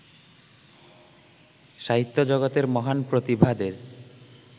সাহিত্যজগতের মহান প্রতিভাদের